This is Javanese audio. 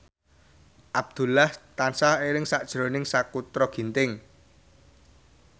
Abdullah tansah eling sakjroning Sakutra Ginting